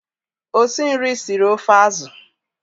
Osinri siri ofe azụ.